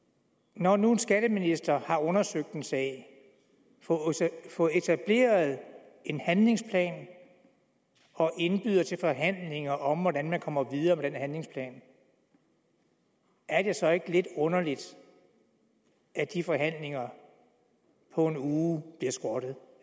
når nu en skatteminister har undersøgt en sag fået etableret en handlingsplan og indbyder til forhandlinger om hvordan man kommer videre med den handlingsplan er det så ikke lidt underligt at de forhandlinger på en uge bliver skrottet